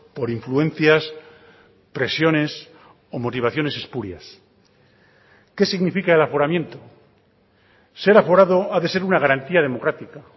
por influencias presiones o motivaciones espurias qué significa el aforamiento ser aforado ha de ser una garantía democrática